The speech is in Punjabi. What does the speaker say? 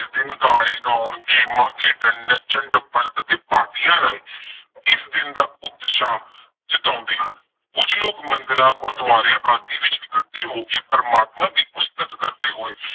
ਇਸ ਦਿਨ ਗਾਣੇ ਗਾਉਣ, ਗੇਮਾਂ, ਖੇਡਣ, ਨੱਚਣ-ਟੱਪਣ ਅਤੇ ਪਾਰਟੀਆਂ ਰਾਹੀ, ਇਸ ਦਿਨ ਦਾ ਉਤਸ਼ਾਹ ਜਤਾਉਂਦੇ ਹਨ। ਕੁੱਝ ਲੋਕ ਮੰਦਿਰਾਂ ਗੁਰਦੁਆਰਿਆਂ ਆਦਿ ਵਿੱਚ ਇਕੱਠੇ ਹੋ ਕੇ ਪ੍ਰਮਾਤਮਾ ਦੀ ਉਸਤਤ ਕਰਦੇ ਹੋਏ